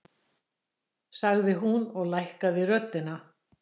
sagði hún og hækkaði röddina.